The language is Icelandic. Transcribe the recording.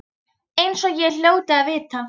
Eins og ég hljóti að vita.